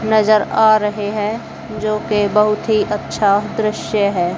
नजर आ रहे हैं जो की बहुत ही अच्छा दृश्य है।